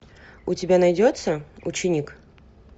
у тебя найдется ученик